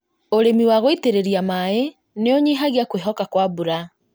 ũrĩmi wa gũitĩrĩria maĩ nĩkũnyihagia kwĩhoka kwa mbura